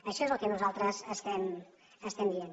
això és el que nosaltres estem dient